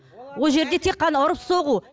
ол жерде тек қана ұрып соғу